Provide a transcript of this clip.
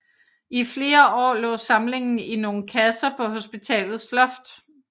I flere år lå samlingen i nogle kasser på hospitalets loft